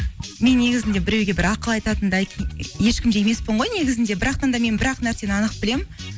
мен негізінде біреуге бір ақыл айтатындай ешкім де емеспін ғой негізінде да мен бір ақ нәрсені анық білемін